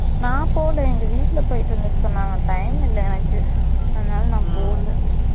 நான் போல எங்க வீட்ல போயிட்டு வந்துட்டு சொன்னங்க time இல்லை எனக்கு அதுனால நான் போல